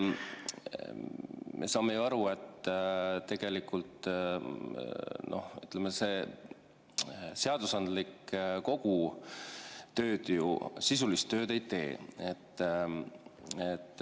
Me saame ju aru, et tegelikult seadusandlik kogu sisulist tööd ei tee.